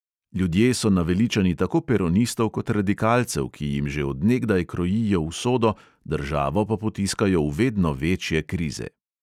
Ljudje so naveličani tako peronistov kot radikalcev, ki jim že od nekdaj krojijo usodo, državo pa potiskajo v vedno večje krize.